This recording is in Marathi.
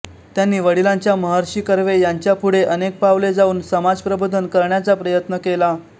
त्यांनी वडिलांच्या महर्षी कर्वे यांच्या पुढे अनेक पावले जाऊन समाजप्रबोधन करण्याचा प्रयत्न केला